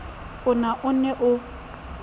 a na o ne o